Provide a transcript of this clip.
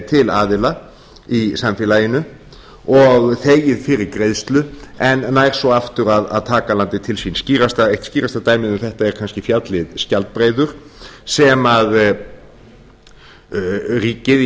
til aðila í samfélaginu og þegið fyrir greiðslu en nær svo aftur að taka landið til sín eitt skýrasta dæmið um þetta er kannski fjallið skjaldbreiður sem ríkið